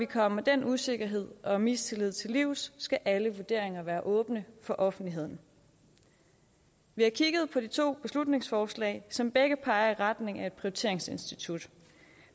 komme den usikkerhed og mistillid til livs skal alle vurderinger være åbne for offentligheden vi har kigget på de to beslutningsforslag som begge peger i retning af et prioriteringsinstitut